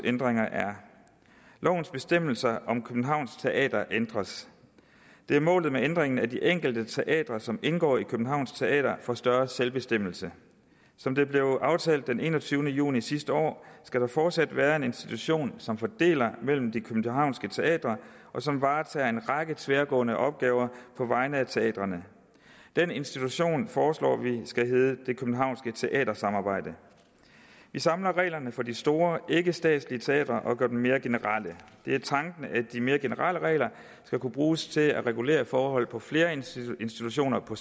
ændringer er lovens bestemmelser om københavn teater ændres det er målet med ændringen at de enkelte teatre som indgår i københavn teater får større grad af selvbestemmelse som det blev aftalt den enogtyvende juni sidste år skal der fortsat være en institution som fordeler mellem de københavnske teatre og som varetager en række tværgående opgaver på vegne af teatrene den institution foreslår vi skal hedde det københavnske teatersamarbejde vi samler reglerne for de store ikkestatslige teatre og gør dem mere generelle det er tanken at de mere generelle regler skal kunne bruges til at regulere forhold på flere institutioner på